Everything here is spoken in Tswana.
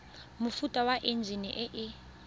mofuta wa enjine e e